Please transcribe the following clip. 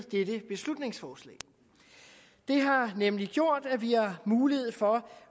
dette beslutningsforslag det har nemlig gjort at vi har mulighed for